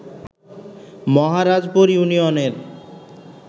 মহারাজপুর ইউনিয়নের